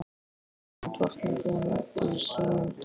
Hér er hún drottning í sínum dal.